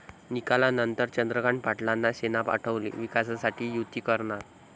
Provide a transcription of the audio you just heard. निकालानंतर चंद्रकांत पाटलांना सेना आठवली, विकासासाठी युती करणार!